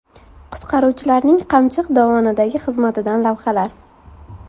Qutqaruvchilarning Qamchiq dovonidagi xizmatidan lavhalar .